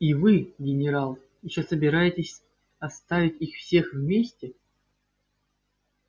и вы генерал ещё собираетесь оставить их всех вместе